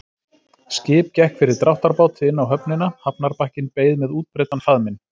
Skip gekk fyrir dráttarbáti inn á höfnina, hafnarbakkinn beið með útbreiddan faðminn.